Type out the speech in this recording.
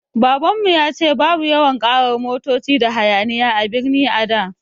Babanmu ya ce babu yawan ƙarar motoci da hayaniya a birni a da